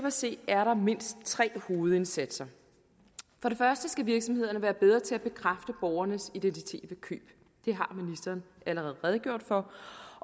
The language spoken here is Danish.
at se er der mindst tre hovedindsatser for det første skal virksomhederne være bedre til at bekræfte borgernes identitet ved køb det har ministeren allerede redegjort for